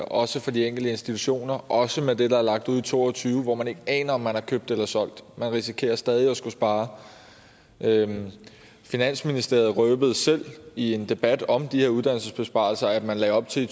også for de enkelte institutioner og også med det der er lagt ud i to og tyve hvor man ikke aner om man er købt eller solgt man risikerer stadig at skulle spare finansministeren røbede selv i en debat om de her uddannelsesbesparelser at man lagde op til i